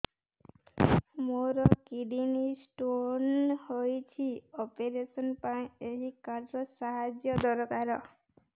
ମୋର kidney stone ହଇଛି operation ପାଇଁ ଏହି କାର୍ଡ ର ସାହାଯ୍ୟ ଦରକାର